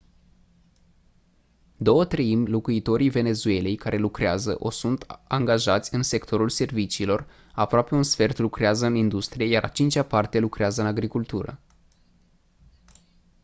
două treimi locuitorii venezuelei care lucrează o sunt angajați în sectorul serviciilor aproape un sfert lucrează în industrie iar a cincea parte lucrează în agricultură